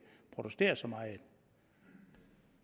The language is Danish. protesterer så meget